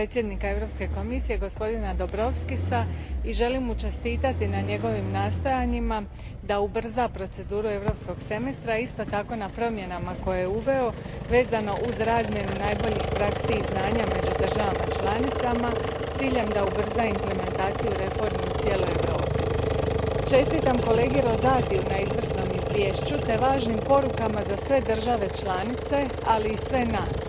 Gospodine predsjedniče, pozdravljam potpredsjednika Europske Komisije gospodina Dombrovskisa i želim mu čestitati na njegovim nastojanjima da ubrza proceduru Europskog semestra i isto tako na promjenama koje je uveo vezano uz razmjenu najboljih praksi i znanja među državama članicama s ciljem da ubrza implementaciju reformi u cijeloj Europi. Čestitam kolegi Rosatiju na izvrsnom izvješću te važnim porukama za sve države članice, ali i sve nas.